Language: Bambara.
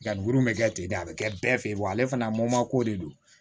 Nka grinnu be kɛ ten de a be kɛ bɛɛ fe yen wa ale fana ko de don